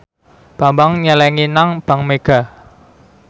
Bambang nyelengi nang bank mega